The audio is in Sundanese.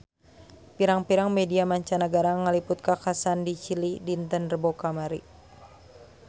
Pirang-pirang media mancanagara ngaliput kakhasan di Chili dinten Rebo kamari